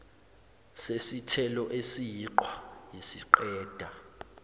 sesithelo esiyiqhwa isiqeda